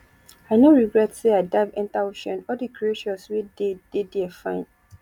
i no regret say i dive enter ocean all the creatures wey dey dey there fine